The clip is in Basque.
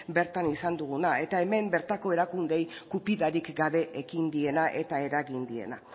bertan izan duguna eta hemen bertako erakundeei gupidarik gabe ekin diena eta eragin diena